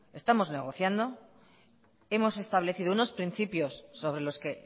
estamos negociando hemos establecido unos principios sobre los que